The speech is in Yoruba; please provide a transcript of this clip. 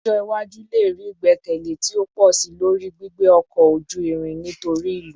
Ọjọ iwaju le rii igbẹkẹle ti o pọ si lori gbigbe ọkọ oju-irin nitori ilu